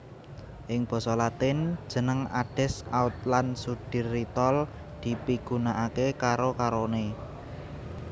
Ing basa Latin jeneng Adesc Autlan Sudtirol dipigunakaké karo karoné